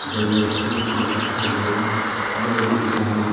इधर में रस्सी वस्सी लटक के बगल में घर भी दिख रहा है।